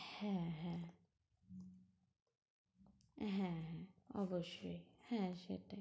হ্যাঁ হ্যাঁ, হ্যাঁ হ্যাঁ, অবশ্যই। হ্যাঁ সেটাই।